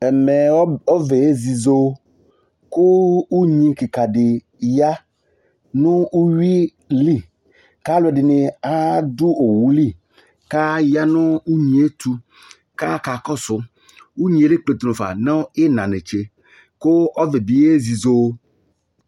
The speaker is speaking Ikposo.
Ɛmɛ, ɔvɛ ezizo, kʋ unyi kɩka dɩ ya nʋ uyui li, kʋ alʋ ɛdɩnɩ adʋ owu li, kʋ aya nʋ unyi yɛ ɛtʋ, kʋ akakɔsʋ, unyi yɛ ekpletu nafa nʋ ɩɣɩna netse, kʋ ɔvɛ bɩ yezizo